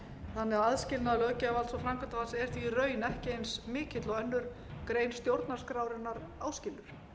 þannig að aðskilnaður löggjafarvalds og framkvæmdarvalds er því í raun ekki eins mikill og aðra grein stjórnarskrárinnar áskilur